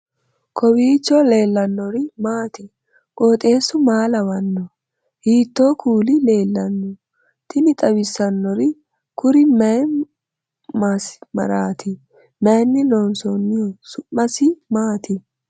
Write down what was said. kowiicho leellannori maati ? qooxeessu maa lawaanno ? hiitoo kuuli leellanno ? tini xawissannori kuri mayi masimaraati mayinni loonsoonniho su'maisi maati